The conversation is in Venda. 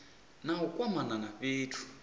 na u kwamana na fhethu